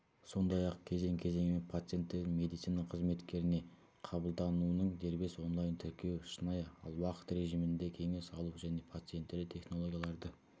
сондай-ақ кезең-кезеңімен пациенттердің медицина қызметкеріне қабылдануының дербес онлайн-тіркеуі шынайы уақыт режимінде кеңес алу және пациенттерді технологияларды